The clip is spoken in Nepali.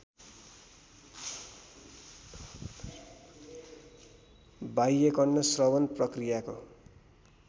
बाह्यकर्ण श्रवण प्रक्रियाको